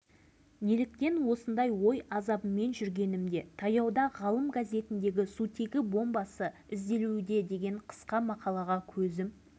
қорғаныс министрлігі мен үкімет басшылығы халықтың тағдырына соншалықты неге немқұрайды қарайды қалың елдің тағдырын ойыншыққа айналдыруы